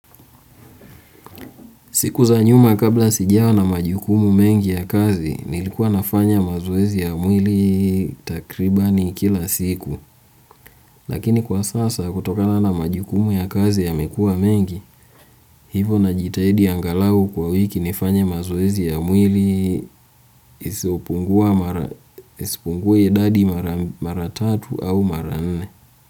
Siku za nyuma kabla sijawa na majukumu mengi ya kazi, nilikuwa nafanya mazoezi ya mwili takribani kila siku. Lakini kwa sasa kutokana na majukumu ya kazi yamekuwa mengi, hivo najitahidi angalau kwa wiki nifanye mazoezi ya mwili isiopungue idadi mara tatu au mara nne.